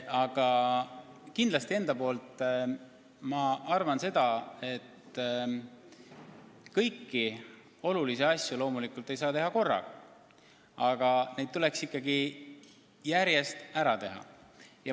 Aga ma arvan, et kõiki olulisi asju loomulikult ei saa teha korraga, aga neid tuleks ikkagi järjest ära teha.